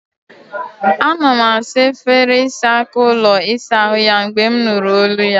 Anọ m na-asa efere ịsa aka ụlọ ịsa ahụ mgbe m nụrụ olu ya.